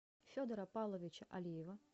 федора павловича алиева